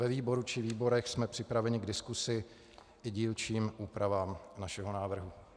Ve výboru či výborech jsme připraveni k diskusi i dílčím úpravám našeho návrhu.